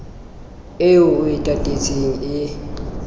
eo o e tatetseng e